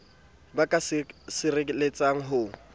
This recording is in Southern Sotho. ba ka sireletsang le ho